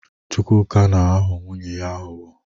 Chukwuka na-aghọ nwunye ya aghụghọ.